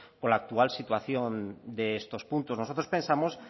con la actual situación de estos puntos nosotros pensamos